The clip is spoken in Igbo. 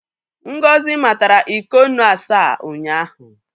Ngozi matara iko nnu asaa ụnyaahụ.